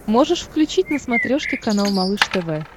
можешь включить на смотрешке канал малыш тв